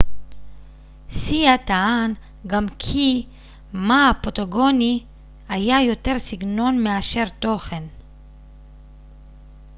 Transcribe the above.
סייה טען גם כי מא הפוטוגני היה יותר סגנון מאשר תוכן